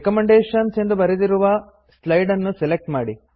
recommendations ಎಂದು ಬರೆದ slide ನ್ನು ಸೆಲೆಕ್ಟ್ ಮಾಡಿ